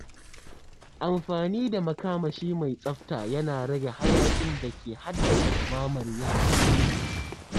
Amfani da makamashi mai tsafta yana rage hayakin da ke haddasa dumamar yanayi.